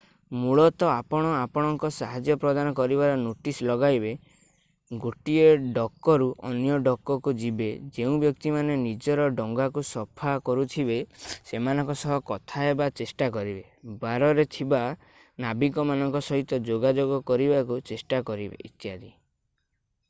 ମୂଳତଃ ଆପଣ ଆପଣଙ୍କ ସାହାଯ୍ୟ ପ୍ରଦାନ କରିବାର ନୋଟିସ୍ ଲଗାଇବେ ଗୋଟିଏ ଡକରୁ ଅନ୍ୟ ଡକକୁ ଯିବେ ଯେଉଁ ବ୍ୟକ୍ତି ମାନେ ନିଜର ଡଙ୍ଗାକୁ ସଫା କରୁଥିବେ ସେମାନଙ୍କ ସହ କଥା ହେବାକୁ ଚେଷ୍ଟା କରିବେ ବାରରେ ଥିବା ନାବିକମାନଙ୍କ ସହିତ ଯୋଗାଯୋଗ କରିବାକୁ ଚେଷ୍ଟା କରିବେ ଇତ୍ୟାଦି